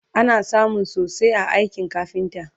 ana samun sosai a aikin kafinta